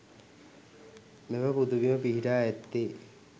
මෙම පුදබිම පිහිටා ඇත්තේ